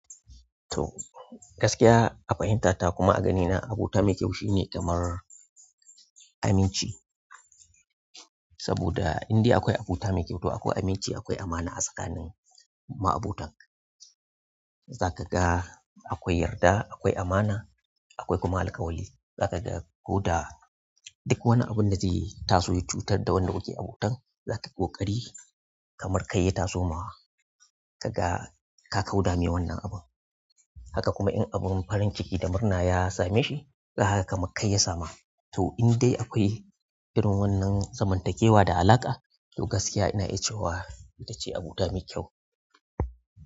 To gaskiya a fahimta ta kuma a ganina, abota mai kyau shine kamar aminci. Saboda indai akwai abota mai kyau, to akwai aminci, akwai amana a tsakanin ma'abotan. Zaka ga akwai yarda, akwai amana, akwai kuma alkawali. Zaka ga ko da duk wani abun da ze taso ya cutar da wanda kuke abotan, za ta yi ƙoƙari kamar kai ya taso ma wa. Kaga ka kauda me wannan abun. Haka kuma in abun farin ciki da murna ya same shi, zakaga kamak kai ya sama. To indai akwai irin wannan zamantakewa da alaƙa, to gaskiya ina iya cewa ita ce abota mai kyau.